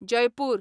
Jaipur